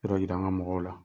Yɔrɔ yira an ka mɔgɔw la.